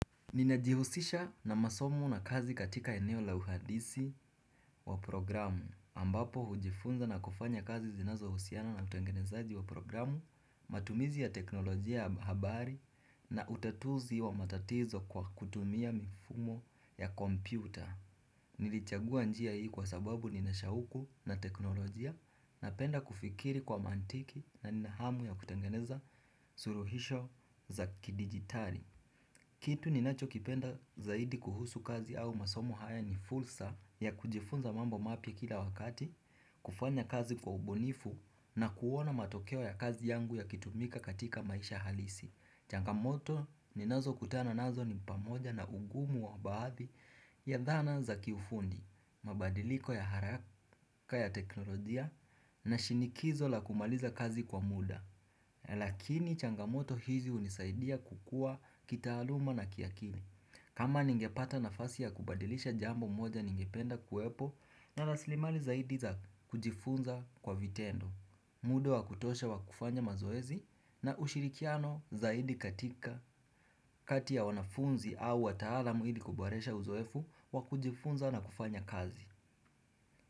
Ninajihusisha na masomo na kazi katika eneo la uhandisi wa programu ambapo hujifunza na kufanya kazi zinazohusiana na utengenezaji wa programu matumizi ya teknolojia habari na utatuzi wa matatizo kwa kutumia mifumo ya kompyuta Nilichagua njia hii kwa sababu ninashauku na teknolojia Napenda kufikiri kwa mantiki na nina hamu ya kutengeneza suluhisho za kidigitari Kitu ninacho kipenda zaidi kuhusu kazi au masomo haya ni fursa ya kujifunza mambo mapya kila wakati, kufanya kazi kwa ubunifu na kuona matokeo ya kazi yangu yakitumika katika maisha halisi. Changamoto ninazo kutana nazo ni pamoja na ugumu wa baadhi ya dhana za kiufundi, mabadiliko ya haraka ya teknolojia na shinikizo la kumaliza kazi kwa muda. Lakini changamoto hizi hunisaidia kukua kitaaluma na kiakili kama ningepata nafasi ya kubadilisha jambo moja ningependa kuwepo na raslimali zaidi za kujifunza kwa vitendo muda wa kutosha wa kufanya mazoezi na ushirikiano zaidi katika kati ya wanafunzi au wataalamu hili kuboresha uzoefu wa kujifunza na kufanya kazi.